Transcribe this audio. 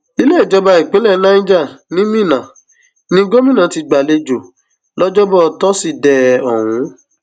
ilé ìjọba ìpínlẹ niger ni minna ní gómìnà ti gbà á lálejò lọjọbọ tọsídẹẹ ọhún